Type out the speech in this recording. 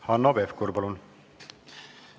Hanno Pevkur, palun!